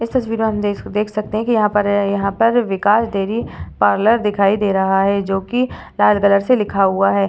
इस तस्वीर में हम देख सकते है की यहाँ पर यहाँ पर विकास डेरी पार्लर दिखाई दे रहा है जो कि लाल कलर से लिखा हुआ है।